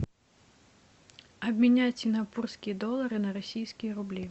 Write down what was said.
обменять сингапурские доллары на российские рубли